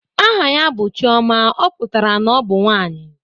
Aha ya bụ Chiọma, ọ pụtara na ọ bụ nwanyị